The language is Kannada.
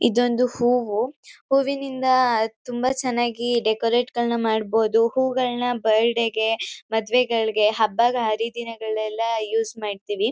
ಇದೊಂದು ಹೂವು ಹೂವಿನಿಂದ ತುಂಬ ಚನಾಗಿ ಡೆಕೊರೇಟ್ಗಳ್ನ ಮಾಡಬೋದು ಹೂಗಳ್ನ ಬರ್ಡೇಗೆ ಮದ್ವೆಗಳ್ಗೆ ಹಬ್ಬ ಹರಿದಿನಗಳೆಲ್ಲ ಯೂಸ್ ಮಾಡ್ತೀವಿ.